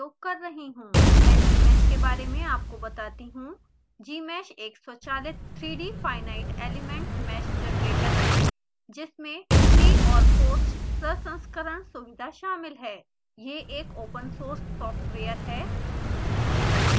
मैं gmsh के बारे में आपको बताती हूँ gmsh एक स्वचालित 3d finite element mesh generator है जिसमें प्री और पोस्ट प्रसंस्करण सुविधा शामिल है यह एक ओपन सोर्स सॉफ्टवेयर है